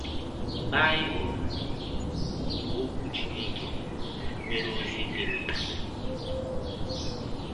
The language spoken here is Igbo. Baịbụl, bụ́ Ọkwụ Chineke, nwere ọzi dị mkpa. um